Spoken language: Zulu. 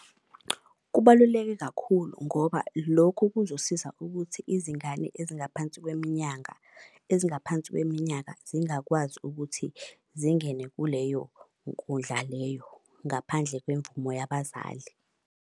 Kubaluleke kakhulu ngoba lokhu kuzosiza ukuthi izingane ezingaphansi kweminyanga ezingaphansi kweminyaka zingakwazi ukuthi zingene kuleyo nkundla leyo. Ngaphandle kwemvumo yabazali.